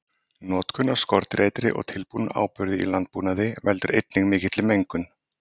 Notkun á skordýraeitri og tilbúnum áburði í landbúnaði veldur einnig mikilli mengun.